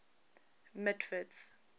mitford's